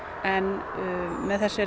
en